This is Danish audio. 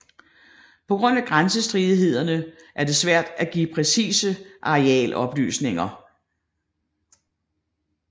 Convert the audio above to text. På grund af grænsestridighederne er det svært at give præcise arealoplysninger